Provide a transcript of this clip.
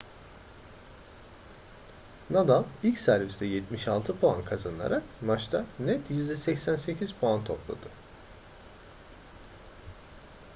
nadal ilk serviste 76 puan kazanarak maçta net %88 puan topladı